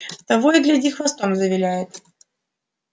того и гляди хвостом завиляет